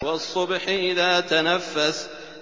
وَالصُّبْحِ إِذَا تَنَفَّسَ